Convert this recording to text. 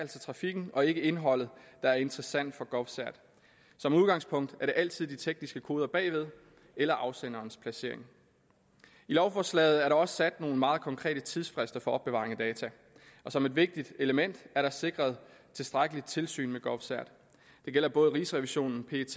trafikken og ikke indholdet der er interessant for govcert som udgangspunkt er det altid de tekniske koder bagved eller afsenderens placering i lovforslaget er der også sat nogle meget konkrete tidsfrister for opbevaring af data og som et vigtigt element er der sikret tilstrækkeligt tilsyn med govcert det gælder både rigsrevisionen pet